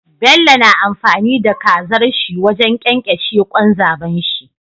Bello na amfani da kazar shi wajan kyankyashe kwan zabon shi